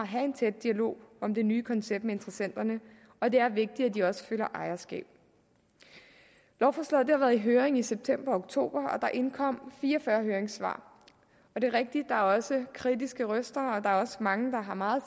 have en tæt dialog om det nye koncept med interessenterne og det er vigtigt at de også føler ejerskab lovforslaget har været i høring i september og oktober og indkommet fire og fyrre høringssvar det er rigtigt at der også kritiske røster og der er også mange der har meget